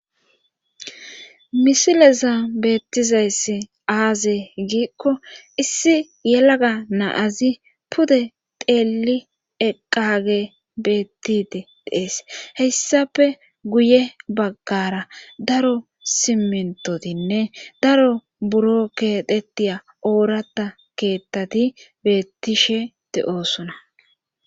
Misileza beettizayssi aaze giikko issi yelaga naazi pude teeli eqqage beettide dees hessafe guye baggara daro simentotinne daro buro ketettiya oorata keettati beettishe te7oosuna.